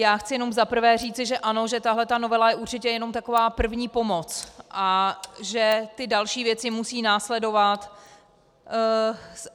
Já chci jenom za prvé říci, že ano, že tahle ta novela je určitě jenom taková první pomoc a že ty další věci musí následovat.